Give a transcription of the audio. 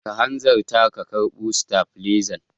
Ka hanzarta ka karba stafilezan.